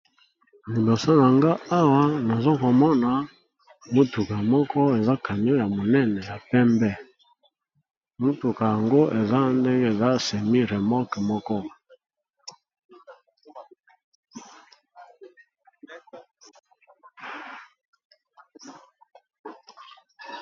Liboso nanga awa nazokomona motuka moko eza camion ya monene ya pembe motuka yango eza ndenge eza semi remoke moko.